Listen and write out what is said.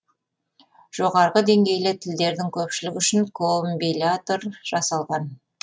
жоғарғы деңгейлі тілдердің көпшілігі үшін комбиляторлар жасалған